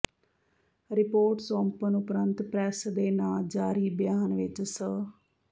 report ਸੌਂਪਣ ਉਪਰੰਤ press ਦੇ ਨਾਂ ਜਾਰੀ ਬਿਆਨ ਵਿੱਚ ਸ